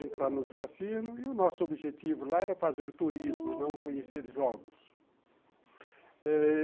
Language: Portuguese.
Entra nos cassinos e o nosso objetivo lá era fazer turismo, não conhecer jogos.